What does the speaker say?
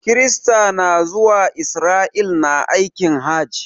Kirista na zuwa Israel na aikin hajj.